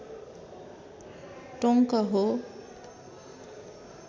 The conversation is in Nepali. टोङ्क हो